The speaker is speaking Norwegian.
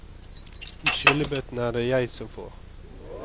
De skyllebøttene er det jeg som får.